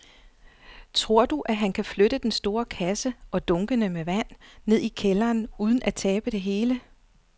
Tror du, at han kan flytte den store kasse og dunkene med vand ned i kælderen uden at tabe det hele?